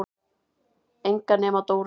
Enga nema Dóu.